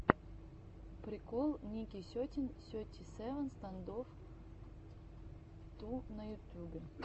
прикол ники сетин сети севен стэндофф ту на ютюбе